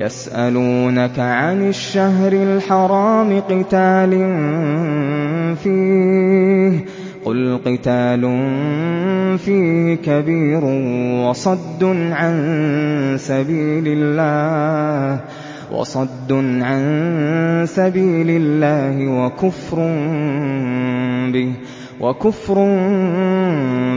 يَسْأَلُونَكَ عَنِ الشَّهْرِ الْحَرَامِ قِتَالٍ فِيهِ ۖ قُلْ قِتَالٌ فِيهِ كَبِيرٌ ۖ وَصَدٌّ عَن سَبِيلِ اللَّهِ وَكُفْرٌ